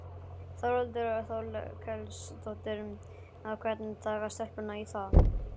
Þórhildur Þorkelsdóttir: Hvernig taka stelpurnar í það?